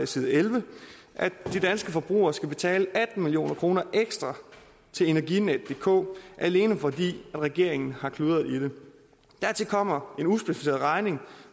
side elleve at de danske forbrugere skal betale atten million kroner ekstra til energinetdk alene fordi regeringen har kludret i det dertil kommer en uspecificeret regning